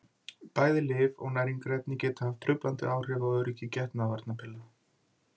Bæði lyf og næringarefni geta haft truflandi áhrif á öryggi getnaðarvarnarpilla.